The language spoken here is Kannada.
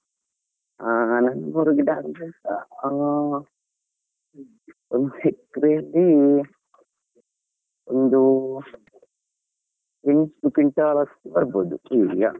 ಆ ನಾಲ್ ನೂರು ಗಿಡಾ ಅಂದ್ರೆ ಹ್ಮ್ ಒಂದ್ acre ಲಿ ಒಂದೂ quin~ quintal ಅಷ್ಟು ಬರ್ಬೋದು .